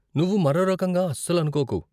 నువ్వు మరో రకంగా అస్సలు అనుకోకు.